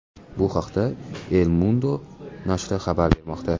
Bu haqda El Mundo nashri xabar bermoqda .